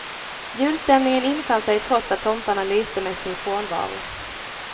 Julstämningen infann sig trots att tomtarna lyste med sin frånvaro.